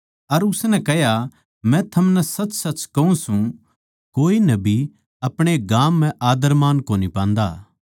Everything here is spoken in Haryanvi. अर उसनै कह्या मै थमनै साच्चीसाच कहूँ सूं कोई नबी अपणे गाम म्ह आद्दरमान कोनी पान्दा